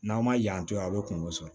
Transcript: N'an ma yan to yen a bɛ kungo sɔrɔ